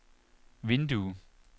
vindue